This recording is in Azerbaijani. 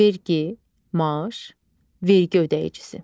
Vergi, maaş, vergi ödəyicisi.